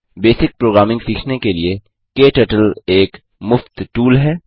basic programming सीखने के लिए क्टर्टल एक मुफ़्त टूल है